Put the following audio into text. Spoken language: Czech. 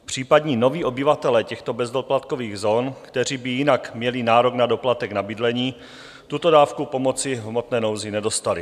Případní noví obyvatelé těchto bezdoplatkových zón, kteří by jinak měli nárok na doplatek na bydlení, tuto dávku pomoci v hmotné nouzi nedostali.